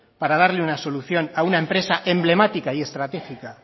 para darle una solución a una empresa emblemática y estratégica